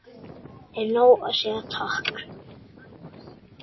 Er nóg að segja takk?